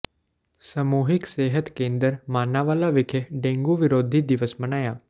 ਸਮੂਹਿਕ ਸਿਹਤ ਕੇਂਦਰ ਮਾਨਾਂਵਾਲਾ ਵਿਖੇ ਡੇਂਗੂ ਵਿਰੋਧੀ ਦਿਵਸ ਮਨਾਇਆ